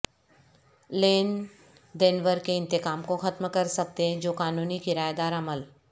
لین دینور کے انتقام کو ختم کر سکتے ہیں جو قانونی کرایہ دار عمل